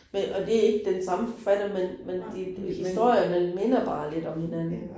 Men og det ikke den samme forfatter, men men de historierne minder bare lidt om hinanden